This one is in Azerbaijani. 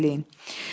Tez eləyin.